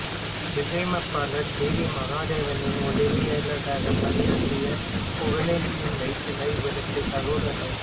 இசையமைப்பாளர் K V மகாதேவனின் உதவியாளராகப் பணியாற்றிய புகழேந்தியின் மைத்துனர் இவருக்குச் சகோதரர்